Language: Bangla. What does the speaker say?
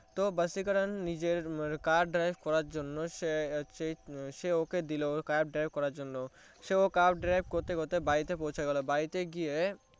তো ভাসিকারান নিজের car drive করার জন্য সে ওকে দিলো car drive করার জন্য সেও car drive করতে করতে বাড়িতে পৌঁছে গেলো বাড়িতে গিয়ে